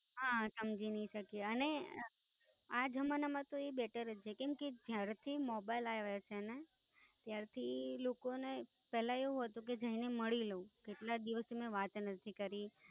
હા સમજી નઈ શકી અને આ જમાના માં તો એ Better હશે કેમ કે જ્યારથી Mobile આવ્યા છે ને ત્યારથી લોકોને પેલા એવું હતું કે જઈને મળી લવ કેટલા દિવસોથી વાત નથી કરી.